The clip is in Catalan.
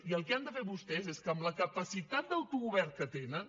i el que han de fer vostès és que amb la capacitat d’autogovern que tenen